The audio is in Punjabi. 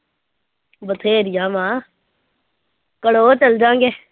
ਬਥੇਰੀਆਂ ਵਾਂ ਕੜੋ ਚਲੇ ਜਾਵਾਂਗੇ